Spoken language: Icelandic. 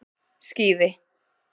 Skíði